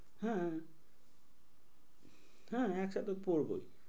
হ্যাঁ হ্যাঁ একসাথে পড়বই।